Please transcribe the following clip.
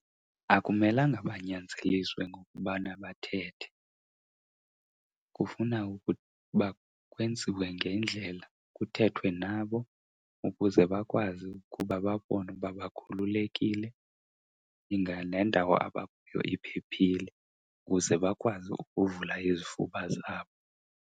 Akumelanga banyanzeliswe ngokubana bathethe, kufuna ukuba kwenziwe ngendlela kuthethwe nabo ukuze bakwazi ukuba babone ukuba bakhululekile. Inga nendawo abakuyo iphephile ukuze bakwazi ukuvula izifuba zabo.